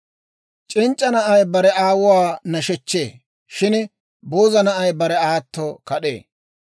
C'inc'c'a na'ay bare aawuwaa nashechchee; shin booza na'ay bare aato kad'ee.